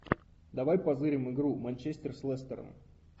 давай позырим игру манчестер с лестером